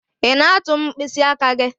Ị na-atụ m mkpịsị aka gị?